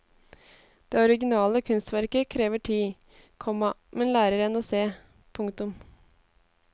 Det originale kunstverket krever tid, komma men lærer en å se. punktum